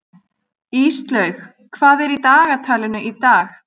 Íslaug, hvað er í dagatalinu í dag?